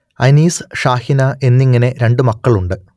അനീസ് ഷാഹിന എന്നിങ്ങനെ രണ്ട് മക്കളുണ്ട്